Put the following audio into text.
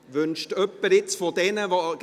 – Wünscht jemand von jenen, die